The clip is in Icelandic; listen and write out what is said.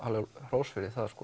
hrós fyrir það